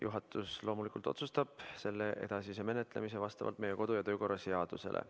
Juhatus otsustab loomulikult selle edasise menetlemise vastavalt meie kodu- ja töökorra seadusele.